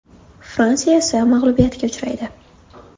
Fransiya esa mag‘lubiyatga uchraydi.